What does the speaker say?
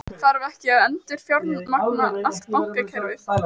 Þarf ekki að endurfjármagna allt bankakerfið?